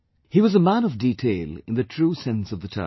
He was a 'Man of Detail' in the true sense of the term